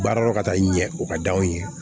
Baara dɔ ka taa i ɲɛ o ka d'an ye